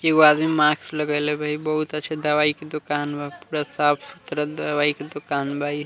एगो आदमी मास्क लगइले बा | इ बहुत अच्छा दवाई के दुकान बा | पूरा साफ़ सुथरा दवाई के दुकान बा | इ --